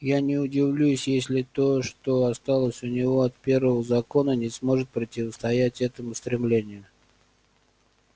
я не удивлюсь если то что осталось у него от первого закона не сможет противостоять этому стремлению